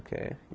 Que